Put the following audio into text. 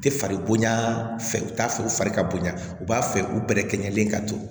U tɛ fari bonya fɛ u t'a fɛ u fari ka bonya u b'a fɛ u bɛrɛ kɛ ɲɛlen ka to